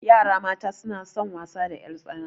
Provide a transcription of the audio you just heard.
Yara mata suna son wasa da ƴartsana.